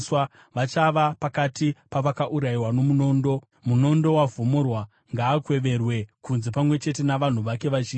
Vachava pakati pavakaurayiwa nomunondo. Munondo wavhomorwa; ngaakweverwe kunze pamwe chete navanhu vake vazhinji.